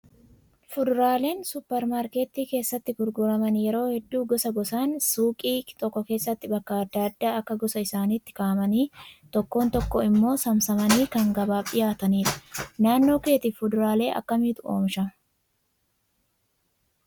Fuduraaleen suupparmaarkeetii keessatti gurguraman yeroo hedduu gosa gosaan suuqii tokko keessa bakka adda addaa akka gosa isaaniittii kaa'amanii tokko tokko immoo saamsamanii kan gabaaf dhiyaatanidha. Naannoo keetti fuduraalee akkamiitu oomishama?